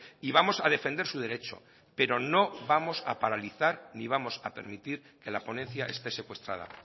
y vamos a defender su derecho pero no vamos a paralizar ni vamos a permitir que la ponencia esté secuestrada